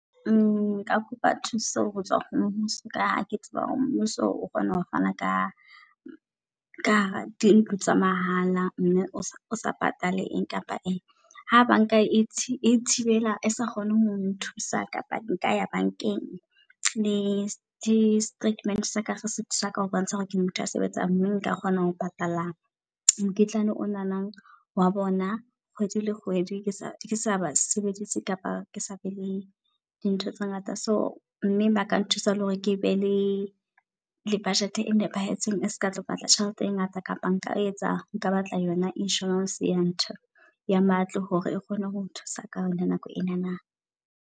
Nka kopa thuso hotswa ho mmuso ka ha ke tseba hore mmuso o kgona ho fana ka ka dintlo tsa mahala. Mme o sa patale eng kapa eng ha banka e thibela, esa kgone ho nthusa kapa nka ya bankeng. Le di statement-e saka seka ho bontsha hore ke motho a sebetsang mme nka kgona ho patala mokitlane onana wa bona kgwedi le kgwedi. Ke sa ke saba sebeditse kapa ke sa be le di ntho tse ngata. So mme ba ka nthusa le hore ke be le le budget e nepahetseng. E seka tlo batla tjhelete e ngata, kapa nka etsa nka batla yona insurance ya ntho ya matlo. Hore e kgone ho nthusa ka hona nako enana.